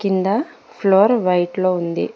కింద floor white లో ఉంది.